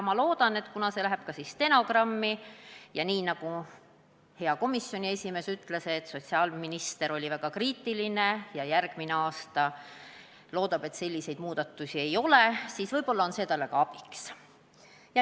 Kuna see läheb ka stenogrammi ja, nagu hea komisjoni esimees ütles, sotsiaalminister oli väga kriitiline ja loodab, et järgmisel aastal selliseid muudatusi ei ole, siis võib-olla on see talle ka abiks.